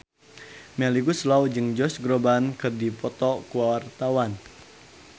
Melly Goeslaw jeung Josh Groban keur dipoto ku wartawan